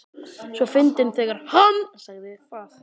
svo fyndið þegar HANN sagði það!